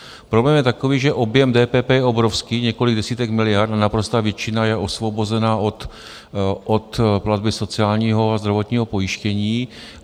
Problém je takový, že objem DPP je obrovský, několik desítek miliard, a naprostá většina je osvobozena od platby sociálního a zdravotního pojištění.